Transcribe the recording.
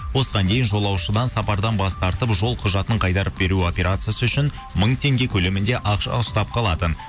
осыған дейін жолушыдан сапардан бас тартып жол құжатын қайтарып беру операциясы үшін мың теңге көлемінде ақша ұстап қалатын